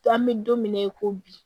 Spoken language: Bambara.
An bɛ don mina i ko bi